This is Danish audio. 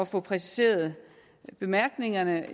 få præciseret bemærkningerne